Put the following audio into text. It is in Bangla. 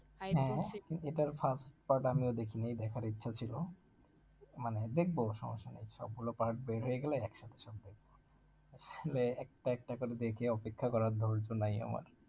হম এটার first part আমিও দেখি নাই, এই দেখার ইচ্ছে ছিল মানে দেখব সবার সঙ্গে সবগুলো part বের হয়ে গেলে একসাথে সব দেখব, একটা একটা করে দেখে অপেক্ষা করার ধৈর্য নেই আমার,